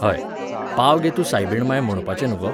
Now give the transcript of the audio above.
हय, पाव गे तूं सायबीण मांय म्होणपाचे न्हूं गो?